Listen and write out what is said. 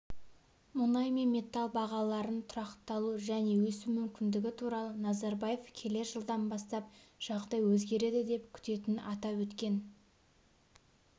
мұнай мен металл бағаларының тұрақталу және өсу мүмкіндігі туралы назарбаев келер жылдан бастап жағдай өзгереді деп күтетінін атап өткен